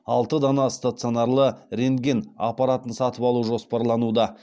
алты дана стационарлы рентген аппаратын сатып алу жоспарлануда